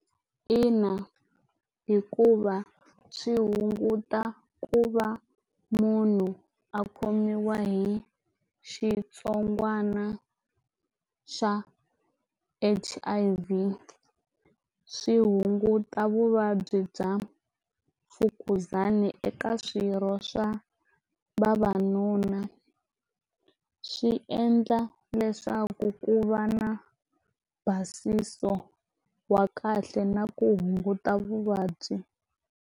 Ina, hikuva swi hunguta ku va munhu a khomiwa hi xitsongwatsongwana xa H_I_V swi hunguta vuvabyi bya mfukuzana eka swirho swa vavanuna swi endla leswaku ku va na basisa no wa kahle na ku hunguta vuvabyi